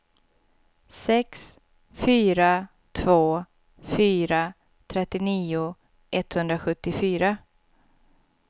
sex fyra två fyra trettionio etthundrasjuttiofyra